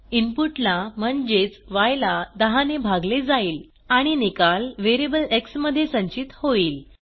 input ला म्हणजेच य ला 10 ने भागले जाईल आणि निकाल व्हेरिएबल एक्स मध्ये संचित होईल